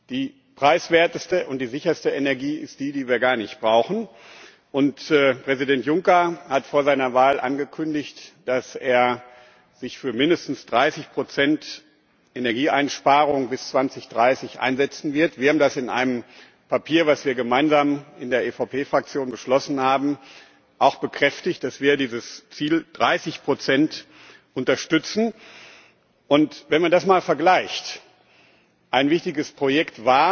Die preiswerteste und die sicherste Energie ist die, die wir gar nicht brauchen. Und Präsident Juncker hat vor seiner Wahl angekündigt, dass er sich für mindestens 30 Energieeinsparung bis 2030 einsetzen wird. Wir haben in einem Papier, das wir gemeinsam in der EVP Fraktion beschlossen haben, auch bekräftigt, dass wir dieses Ziel von 30 unterstützen. Wenn man das einmal vergleicht Ein wichtiges Projekt